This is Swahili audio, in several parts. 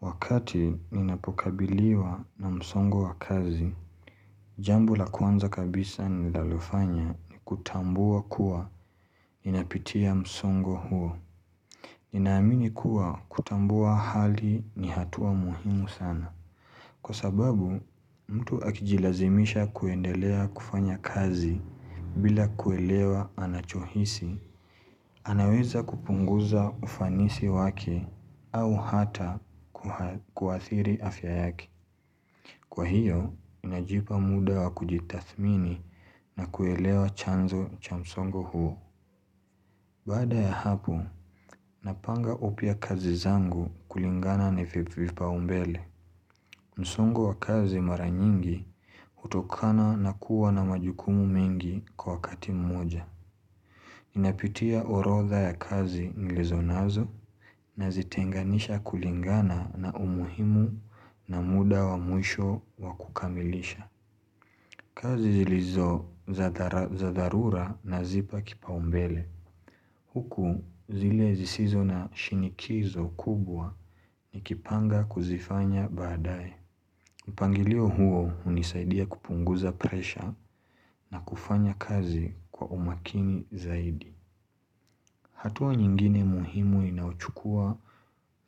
Wakati ninapokabiliwa na msongo wa kazi, jambo la kwanza kabisa ninalofanya ni kutambua kuwa ninapitia msongo huo. Ninaamini kuwa kutambua hali ni hatua muhimu sana. Kwa sababu, mtu akijilazimisha kuendelea kufanya kazi bila kuelewa anachohisi. Anaweza kupunguza ufanisi wake au hata kuathiri afya yake. Kwa hiyo, ninajipa muda wa kujitathmini na kuelewa chanzo cha msongo huo. Baada ya hapo, napanga upya kazi zangu kulingana na vipaumbele. Msongo wa kazi mara nyingi hutokana na kuwa na majukumu mengi kwa wakati mmoja. Napitia orodha ya kazi nilizo nazo nazitenganisha kulingana na umuhimu na muda wa mwisho wa kukamilisha. Kazi zilizo za dharura nazipa kipaumbele. Huku zile zisizo na shinikizo kubwa nikipanga kuzifanya baadae. Mpangilio huo hunisaidia kupunguza presha na kufanya kazi kwa umakini zaidi. Hatua nyingine muhimu inayochukua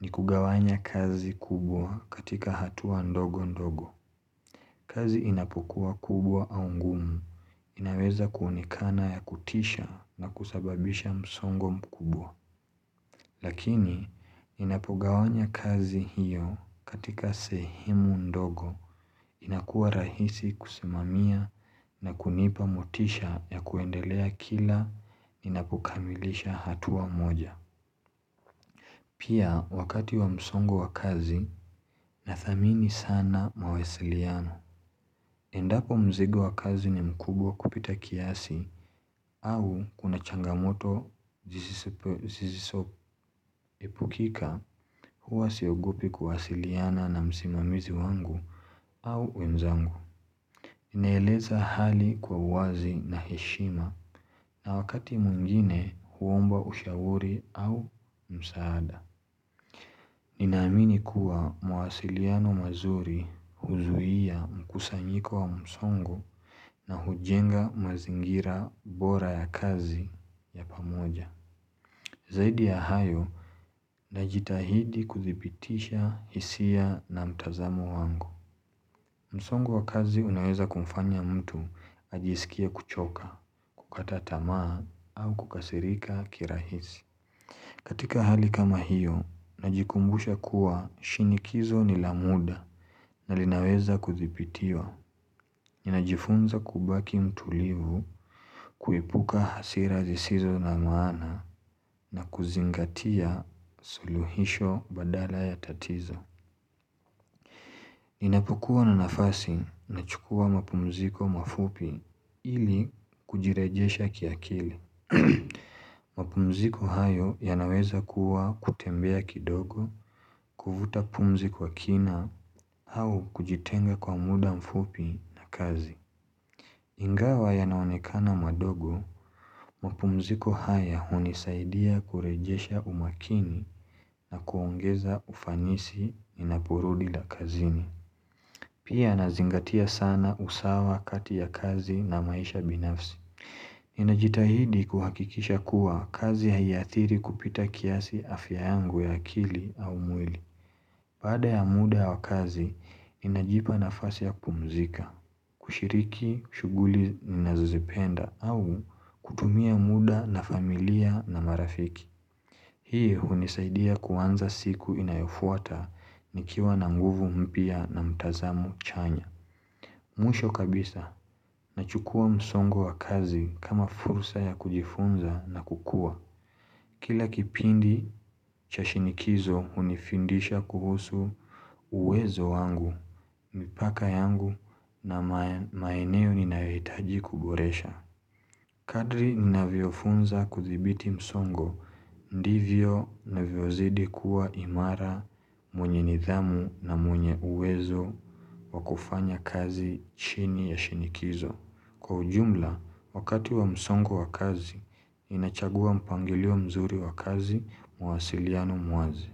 ni kugawanya kazi kubwa katika hatua ndogo ndogo. Kazi inapokua kubwa au ngumu inaweza kuonekana ya kutisha na kusababisha msongo mkubwa. Lakini ninapogawanya kazi hiyo katika sehemu ndogo inakuwa rahisi kusimamia na kunipa motisha ya kuendelea kila ninapokamilisha hatua moja. Pia wakati wa msongo wa kazi nathamini sana mawasiliano. Endapo mzigo wa kazi ni mkubwa kupita kiasi au kuna changamoto zisizoepukika huwa siogopi kuwasiliana na msimamizi wangu au wenzangu. Inaeleza hali kwa wazi na heshima na wakati mwingine huomba ushauri au msaada. Ninaamini kuwa mawasiliano mazuri huzuia mkusanyiko wa msongo na hujenga mazingira bora ya kazi ya pamoja. Zaidi ya hayo, najitahidi kudhibitisha hisia na mtazamo wangu. Msongo wa kazi unaweza kumfanya mtu ajisikie kuchoka, kukata tamaa au kukasirika kirahisi. Katika hali kama hiyo, najikumbusha kuwa shinikizo ni la muda na linaweza kudhibitiwa. Ninajifunza kubaki mtulivu kuepuka hasira zisizo na maana na kuzingatia suluhisho badala ya tatizo. Ninapokua na nafasi nachukua mapumziko mafupi ili kujirejesha kiakili. Mapumziko hayo yanaweza kuwa kutembea kidogo Kuvuta pumzi kwa kina au kujitenga kwa muda mfupi na kazi Ingawa yanaonekana madogo mapumziko haya hunisaidia kurejesha umakini na kuongeza ufanisi ninaporudi la kazini Pia nazingatia sana usawa kati ya kazi na maisha binafsi Ninajitahidi kuhakikisha kuwa kazi ya haiathiri kupita kiasi afya yangu ya akili au mwili Baada ya muda wa kazi, ninajipa nafasi ya kupumzika, kushiriki, shughuli, ninazozipenda au kutumia muda na familia na marafiki Hii hunisaidia kuanza siku inayofuata nikiwa na nguvu mpya na mtazamo chanya Mwisho kabisa nachukua msongo wa kazi kama fursa ya kujifunza na kukua. Kila kipindi cha shinikizo hunifundisha kuhusu uwezo wangu, mipaka yangu na maeneo ninayohitaji kuboresha. Kadri ninavyofunza kuthibiti msongo ndivyo navyozidi kuwa imara mwenye nidhamu na mwenye uwezo wa kufanya kazi chini ya shinikizo. Kwa ujumla, wakati wa msongo wa kazi, ninachagua mpangilio mzuri wa kazi mawasiliano mwazi.